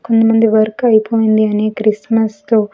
కొంతమంది వర్క్ అయిపోయింది అనే క్రిస్మస్ తో.